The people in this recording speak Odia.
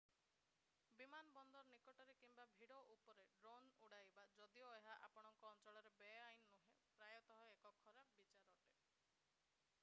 ବିମାନ ବନ୍ଦର ନିକଟରେ କିମ୍ବା ଭିଡ଼ ଉପରେ ଡ୍ରୋନ୍ ଉଡାଇବା ଯଦିଓ ଏହା ଆପଣଙ୍କ ଅଞ୍ଚଳରେ ବେଆଇନ ନୁହେଁ ପ୍ରାୟତଃ ଏକ ଖରାପ ବିଚାର ଅଟେ